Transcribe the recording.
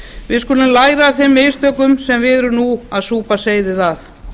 við skulum læra af þeim mistökum sem við erum nú að súpa seyðið af